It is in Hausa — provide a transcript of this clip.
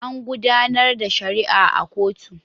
An gudanar da shari'a a kotu.